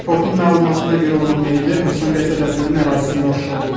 Reportun məlumatına görə onun meyidi Hövsan qəsəbəsinin ərazisində aşkar olunub.